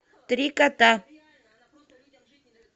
три кота